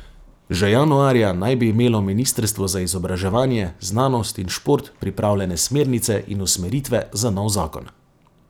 Že januarja naj bi imelo ministrstvo za izobraževanje, znanost in šport pripravljene smernice in usmeritve za nov zakon.